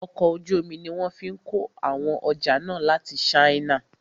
Ọkọ̀ ojú omi ní wọ́n fí kó àwọn ọjà náà láti ìlú china.